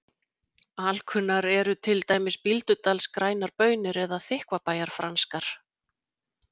Alkunnar eru til dæmis Bíldudals grænar baunir eða Þykkvabæjar franskar.